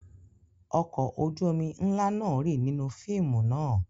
Ọkọ̀ ojú-omi ńlá náà rì nínú fíìmù náà.